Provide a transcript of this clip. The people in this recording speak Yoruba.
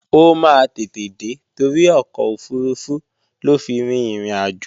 Ó máa tètè dé torí ọkọ̀ òfurufú ló fi rin ìrìnàjò